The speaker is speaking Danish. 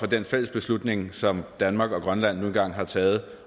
den fælles beslutning som danmark og grønland nu engang har taget